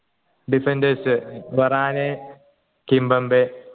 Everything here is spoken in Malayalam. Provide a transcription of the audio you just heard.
defenders തൊറാനെ കിംബെമ്പേ